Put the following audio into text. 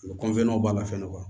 U bɛ b'a la fɛn don